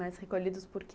Mas recolhidos por quê?